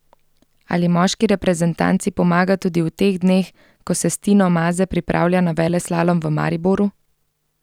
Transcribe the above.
Ali moški reprezentanci pomaga tudi v teh dneh, ko se s Tino Maze pripravlja na veleslalom v Mariboru?